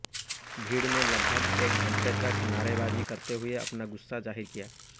भीड़ ने लगभग एक घण्टे तक नारेबाजी करते हुए अपना गुस्सा जाहिर किया